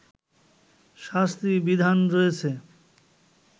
শাস্তির বিধান রয়েছে